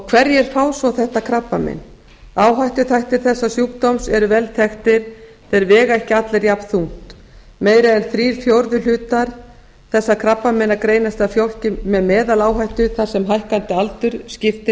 hverjir fá svo þetta krabbamein áhættuþættir þessa sjúkdóms eru vel þekktir en þeir vega ekki allir jafnþungt meira en þrír fjórðu hlutar þessara krabbameina greinast hjá fólki með meðaláhættu þar sem hækkandi aldur skiptir